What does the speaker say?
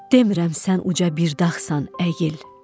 Demirəm sən uca bir dağsan, əyil.